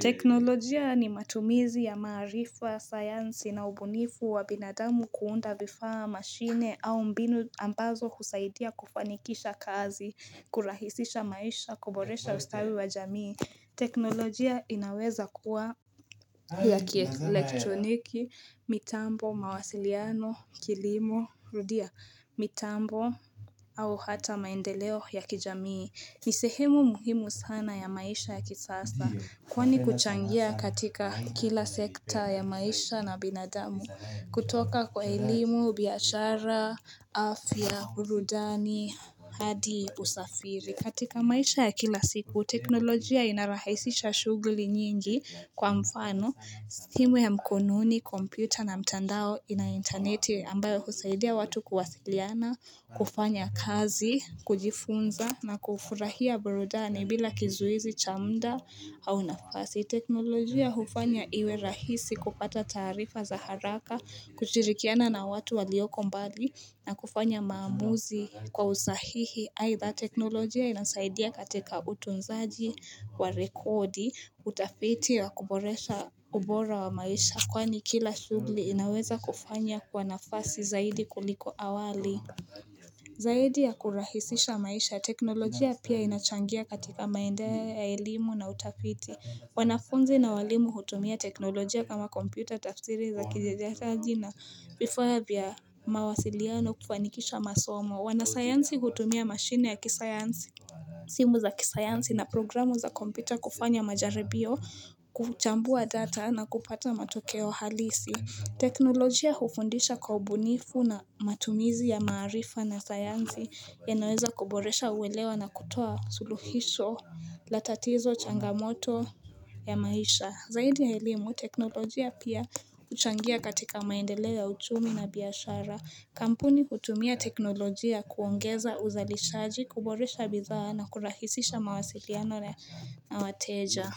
Teknolojia ni matumizi ya maarifa ya sayansi na ubunifu wa binadamu kuunda vifaa mashine au mbinu ambazo husaidia kufanikisha kazi, kurahisisha maisha, kuboresha ustawi wa jamii. Teknolojia inaweza kuwa ya kielektroniki, mitambo, mawasiliano, kilimo, rudia, mitambo, au hata maendeleo ya kijamii. Ni sehemu muhimu sana ya maisha ya kisasa. Kwani kuchangia katika kila sekta ya maisha na binadamu. Kutoka kwa elimu, biashara, afya, burudani hadi usafiri. Katika maisha ya kila siku, teknolojia inarahisisha shughuli nyingi, kwa mfano simu ya mkononi, kompyuta na mtandao ina interneti ambayo husaidia watu kuwasiliana, kufanya kazi, kujifunza na kufurahia burudani bila kizuizi cha mda au nafasi. Teknolojia hufanya iwe rahisi kupata taarifa za haraka, kushirikiana na watu walioko mbali na kufanya maamuzi kwa usahihi. Aidha teknolojia inasaidia katika utunzaji wa rekodi, utafiti ya kuboresha ubora wa maisha. Kwani kila shughuli inaweza kufanya kwa nafasi zaidi kuliko awali. Zaidi ya kurahisisha maisha, teknolojia pia inachangia katika maendea ya elimu na utafiti. Wanafunzi na walimu hutumia teknolojia kama kompyuta tafsiri za kijajati na vifaa vya mawasiliano kufanikisha masomo. Wanasayansi hutumia mashine ya kisayansi simu za kisayansi na programu za kompyuta kufanya majaribio kuchambua data na kupata matokeo halisi, teknolojia hufundisha kwa ubunifu na matumizi ya maarifa na sayansi yanaweza kuboresha uelewa na kutoa suluhisho la tatizo changamoto ya maisha. Zaidi ya elimu, teknolojia pia kuchangia katika maendeleo uchumi na biashara. Kampuni kutumia teknolojia kuongeza uzalishaji, kuboresha bidhaa na kurahisisha mawasiliano na wateja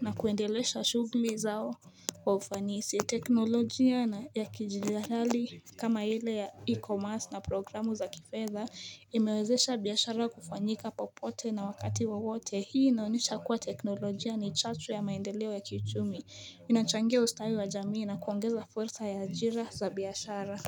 na kuendelesha shughuli zao wa ufanisi, teknolojia na ya kidijitali kama ile ya e-commerce na programu za kifedha imewezesha biashara kufanyika popote na wakati wowote, hii inaonyesha kuwa teknolojia ni chachu ya maendeleo ya kiuchumi inachangia ustawi wa jamii na kuongeza fursa ya ajira za biashara.